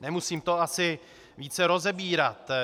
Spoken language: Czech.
Nemusím to asi více rozebírat.